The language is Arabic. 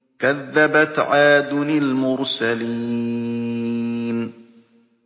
كَذَّبَتْ عَادٌ الْمُرْسَلِينَ